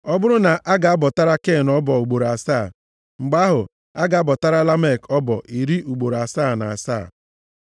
Ọ bụrụ na a ga-abọtara Ken ọbọ ugboro asaa, mgbe ahụ, a ga-abọtara Lamek ọbọ iri ugboro asaa na asaa.”